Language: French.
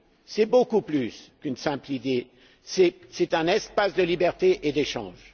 C'est beaucoup plus qu'une simple idée, c'est un espace de liberté et d'échanges.